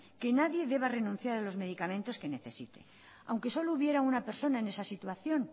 que nadie deba renunciar a los medicamentos que necesite aunque solo hubiera una persona en esa situación